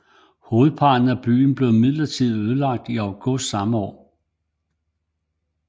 Hovedparten af byen blev imidlertid ødelagt i august samme år